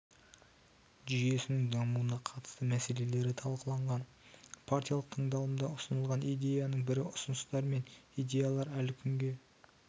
жүйесінің дамуына қатысты мәлеселері талқыланған партиялық тыңдалымда ұсынылған идеяның бірі ұсыныстар мен идеялар әлі күнге